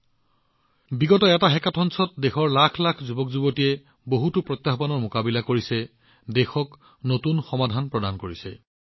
শেহতীয়া বছৰবোৰত অনুষ্ঠিত হোৱা এক হেকাথন দেশৰ লাখ লাখ যুৱকযুৱতীৰ সৈতে একেলগে বহুতো প্ৰত্যাহ্বান সমাধান কৰিছে দেশক নতুন সমাধান প্ৰদান কৰিছে